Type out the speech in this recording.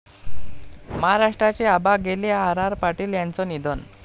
महाराष्ट्राचे 'आबा' गेले, आर.आर.पाटील यांचं निधन